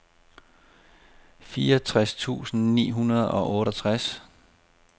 fireogtres tusind ni hundrede og otteogtres